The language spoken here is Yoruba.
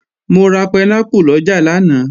Mo ra pẹnápù lọjà lánàá